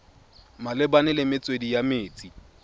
malebana le metswedi ya metsi